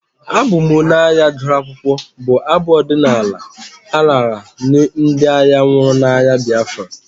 Abụ m onye agha gụrụ akwụkwọ'' bụ abụ ọdịnala a raara nye ndị agha nwụrụ n'agha Biafra.